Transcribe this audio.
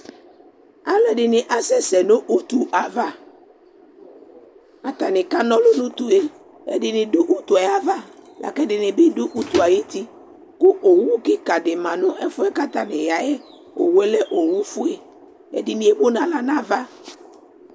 Alʋɛdɩnɩ asɛsɛ nʋ utu ava kʋ atanɩ kana ɔlʋ nʋ utu yɛ Ɛdɩnɩ dʋ utu yɛ ava la kʋ ɛdɩnɩ bɩ dʋ utu yɛ ayuti kʋ owu kɩka dɩ ma nʋ ɛfʋ yɛ kʋ atanɩ ya yɛ Owu yɛ lɛ owufue Ɛdɩnɩ emu nʋ aɣla nʋ ava